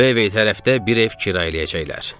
Vevey tərəfdə bir ev kirayə eləyəcəklər.